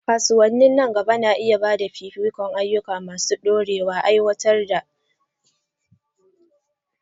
Kasuwanni na gaba na iya ba da fifikon ayyuka masu ɗorewa, aiwatar da dabarun kiyaye muhalli da hanyoyin adana.